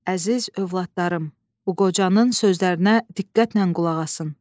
Əziz övladlarım, bu qocanın sözlərinə diqqətlə qulaq asın.